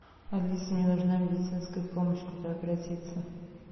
алиса мне нужна медицинская помощь куда обратиться